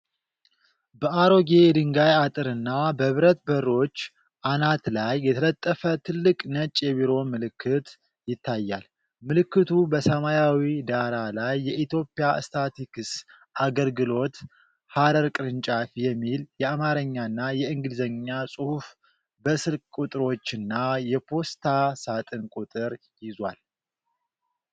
በአሮጌ የድንጋይ አጥርና በብረት በሮች አናት ላይ የተለጠፈ ትልቅ ነጭ የቢሮ ምልክት ይታያል። ምልክቱ በሰማያዊ ዳራ ላይ "የኢትዮጵያ ስታትስቲክስ አገልግሎት - ሐረር ቅርንጫፍ" የሚል የአማርኛና የእንግሊዝኛ ጽሑፍ በስልክ ቁጥሮችና የፖስታ ሳጥን ቁጥር ይዟል።